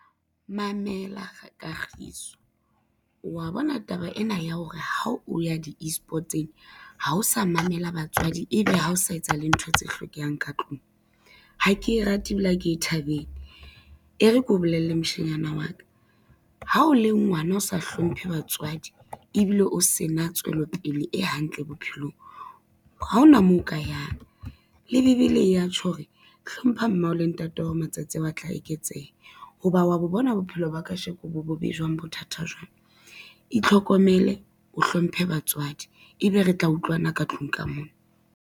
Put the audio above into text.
Mamela Kagiso, wa bona taba ena ya hore ha o ya di-e-sport tsena ha o sa mamela batswadi ebe ha o sa etsa le ntho tse hlokehang ka tlung. Ha ke rate ebile ha ke e thabele, e re keo bolelle moshanyana wa ka, ha o le ngwana o sa hlomphe batswadi ebile o se na tswelopele e hantle bophelong, ha ona moo o ka yang. Le Bebele ya tjho hore, hlompha mmao le ntatao matsatsi ao a tla eketseha, ho ba wa bo bona bophelo ba kasheko bo bobe jwang bothata jwang, itlhokomele o hlomphe batswadi, ebe re tla utlwana ka tlung ka mona.